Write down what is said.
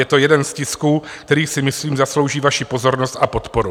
Je to jeden z tisků, které si myslím zaslouží vaši pozornost a podporu.